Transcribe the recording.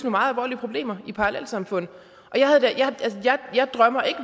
meget alvorlige problemer i parallelsamfundene jeg drømmer